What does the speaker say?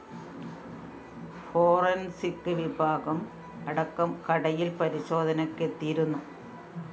forensic വിഭാഗം അടക്കം കടയില്‍ പരിശോധനയ്‌ക്കെത്തിയിരുന്നു